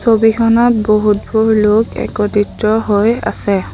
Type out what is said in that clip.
ছবিখনত বহুতবোৰ লোক একত্ৰিত হৈ আছে।